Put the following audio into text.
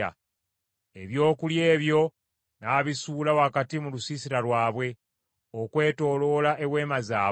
Ebyokulya ebyo n’abisuula wakati mu lusiisira lwabwe; okwetooloola eweema zaabwe.